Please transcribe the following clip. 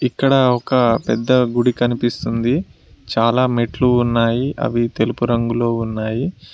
ఇక్కడ ఒక పెద్ద గుడి కనిపిస్తుంది చాలా మెట్లు ఉన్నాయి అవి తెలుపు రంగులో ఉన్నాయి.